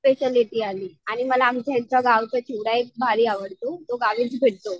Speciality आली आणि मला ह्यांच्या गावचा चुडा एक भारी आवडतो. तो गावीच भेटतो.